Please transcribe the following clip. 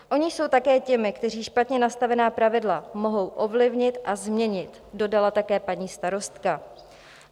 Oni jsou také těmi, kteří špatně nastavená pravidla mohou ovlivnit a změnit," dodala také paní starostka.